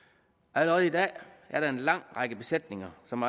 allerede i dag er der en lang række besætninger som